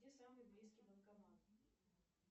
где самый близкий банкомат